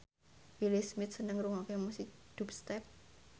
Will Smith seneng ngrungokne musik dubstep